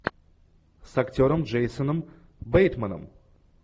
с актером джейсоном бейтманом